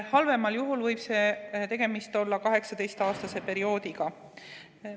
Halvemal juhul võib tegemist olla 18‑aastase perioodiga.